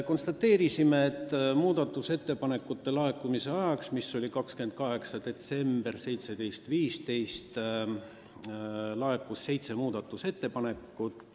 Konstateerisime, et muudatusettepanekute tähtajaks, mis oli 28. detsember kell 17.15, laekus seitse ettepanekut.